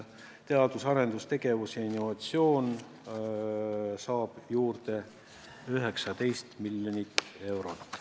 Teadus- ja arendustegevus ning innovatsioon saab juurde 19 miljonit eurot.